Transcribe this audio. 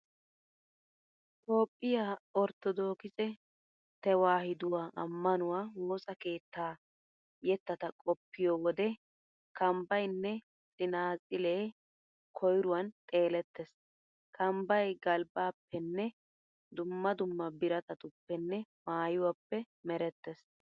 Toophphiya orttodookise tewaahiduwa ammanuwa woosa keettaa yettata qoppiyo wode kambbaynne tsinaatsilee koyruwan xeelettees. Kambbay galbbaappenne dumma dumma biratatuppenne maayuwappe merettees.